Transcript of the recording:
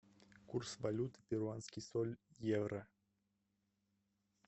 курс валют перуанский соль евро